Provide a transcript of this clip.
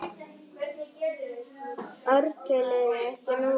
Ártöl eru ekki nákvæm.